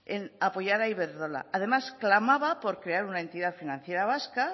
en apoyar a iberdrola además clamaba por crear una entidad financiera vasca